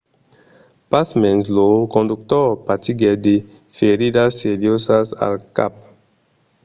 pasmens lo conductor patiguèt de feridas seriosas al cap